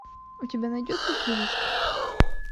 у тебя найдется турист